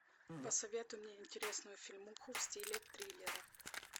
посоветуй мне интересную фильмуху в стиле триллера